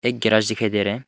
एक गैराज दिखाई दे रहा है।